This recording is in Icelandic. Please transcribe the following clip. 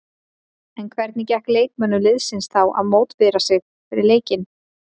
En hvernig gekk leikmönnum liðsins þá að mótivera sig fyrir leikinn?